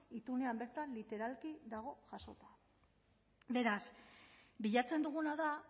itunean bertan literalki dago jasota beraz bilatzen duguna da